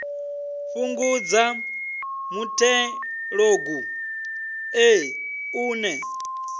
fhungudza muthelogu ṱe u ne